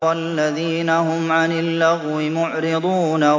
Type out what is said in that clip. وَالَّذِينَ هُمْ عَنِ اللَّغْوِ مُعْرِضُونَ